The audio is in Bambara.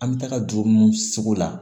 An bɛ taga dugu mun seko la